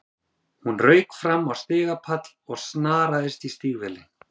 Hún rauk fram á stigapall og snaraðist í stígvélin.